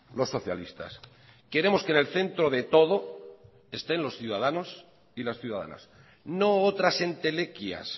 los socialistas queremos que en el centro de todo estén los ciudadanos y las ciudadanas no otras entelequias